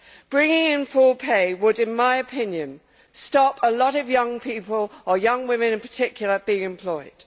Bringing in full pay would, in my opinion, stop a lot of young people or young women in particular being employed.